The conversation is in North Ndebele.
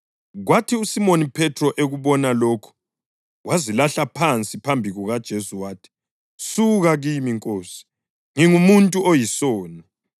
Kwathi uSimoni Phethro ekubona lokhu wazilahla phansi phambi kukaJesu wathi, “Suka kimi, Nkosi; ngingumuntu oyisoni!”